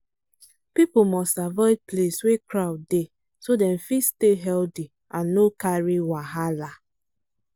people must avoid place wey crowd dey so dem fit stay healthy and no carry wahala